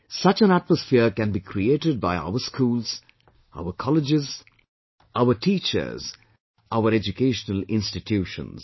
Such an atmosphere can be created by our schools, our colleges, our teachers, our educational institutions